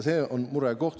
See on murekoht.